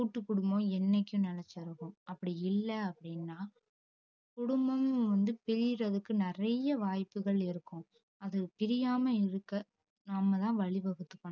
கூட்டுக்குடும்பம் என்னைக்கு நெலச்சிருக்கும் அப்டி இல்ல அப்டின்னா குடும்பம் வந்து பிரியறதுக்கு நெறையா வாய்ப்புகள் இருக்கும் அத பிரியாம்ம இருக்க நாமதா வழி வகுத்துக்கணும்